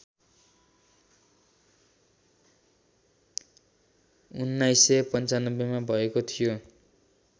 १९९५ मा भएको थियो